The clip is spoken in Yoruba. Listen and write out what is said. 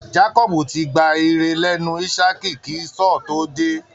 Jacob ti gba ire lẹ́nu ísákì kí Esau tó dé